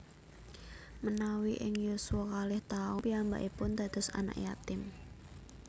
Menawi ing yuswa kalih taun piyambakipun dados anak yatim